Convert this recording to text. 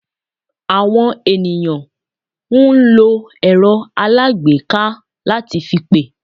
Àwọn ènìyàn n lo èrọ́ alágbèéká lá ti fi pè